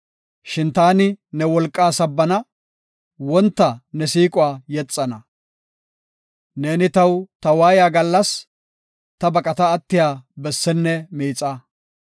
Shin taani ne wolqaa sabbana; wonta ne siiquwa yexana. Neeni taw ta waayiya gallas, ta baqata attiya bessenne miixa.